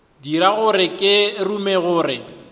dira gore ke rume gore